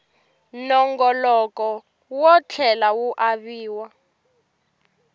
nongoloko wo tlhela ku aviwa